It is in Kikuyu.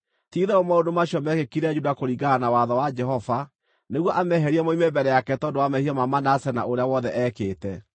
Ti-itherũ maũndũ macio meekĩkire Juda kũringana na watho wa Jehova, nĩguo ameherie moime mbere yake tondũ wa mehia ma Manase na ũrĩa wothe eekĩte,